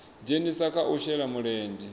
dzhenisa kha u shela mulenzhe